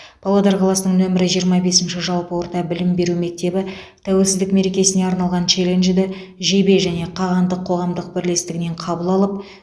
павлодар қаласының нөмірі жиырма бесінші жалпы орта білім беру мектебі тәуелсіздік мерекесіне арналған челленджді жебе және қағандық қоғамдық бірлестігінен қабыл алып